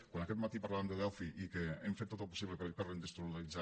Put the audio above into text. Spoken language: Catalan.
quan aquest matí parlàvem de delphi i que hem fet tot el possible per reindustrialitzar